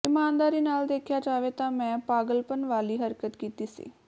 ਇਮਾਨਦਾਰੀ ਨਾਲ ਦੇਖਿਆ ਜਾਵੇ ਤਾਂ ਮੈਂ ਪਾਗਲਪਨ ਵਾਲੀ ਹਰਕਤ ਕੀਤੀ ਸੀ